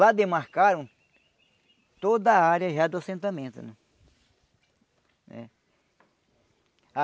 Lá demarcaram toda a área já do assentamento né. Ah